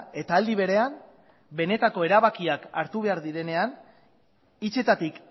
eta aldi berean benetako erabakiak hartu behar direnean hitzetatik